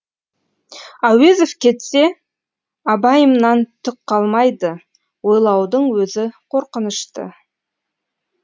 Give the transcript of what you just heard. әуезов кетсе абайымнан түк қалмайды ойлаудың өзі қорқынышты